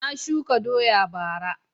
Na shuka doya bara